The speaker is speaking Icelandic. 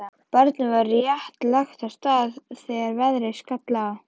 Barnið var rétt lagt af stað þegar veðrið skall á.